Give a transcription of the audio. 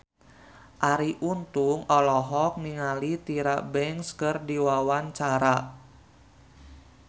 Arie Untung olohok ningali Tyra Banks keur diwawancara